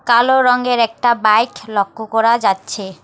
কালো রঙের একটা বাইক লক্ষ্য করা যাচ্ছে।